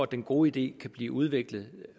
den gode idé kan blive udviklet